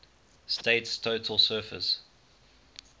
state's total surface